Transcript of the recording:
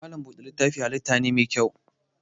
Malam buɗe littafin halitta mai kyau ne.